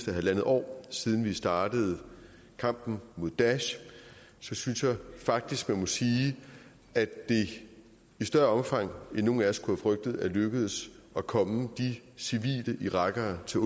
en halv år siden vi startede kampen mod daesh så synes jeg faktisk man må sige at det i større omfang end nogen af os kunne have frygtet er lykkedes at komme de civile irakere som